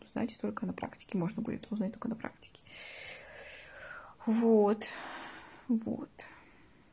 значить только на практике можно будет узнать только на практике вот вот